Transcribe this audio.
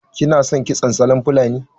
Kina son kitson salon fulani?